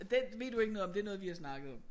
Det ved du ikke noget om det er noget vi har snakket om